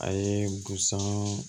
A ye busan